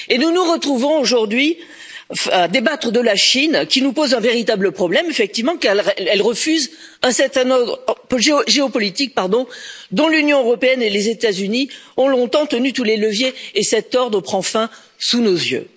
Nous nous retrouvons aujourd'hui à débattre de la Chine, qui nous pose un véritable problème, effectivement, car elle refuse un certain ordre géopolitique dont l'Union européenne et les États Unis ont longtemps tenu tous les leviers et cet ordre prend fin sous nos yeux.